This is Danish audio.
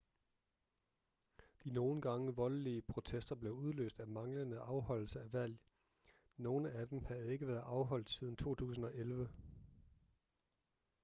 de nogle gange voldelige protester blev udløst af manglende afholdelse af valg nogle af dem havde ikke været afholdt siden 2011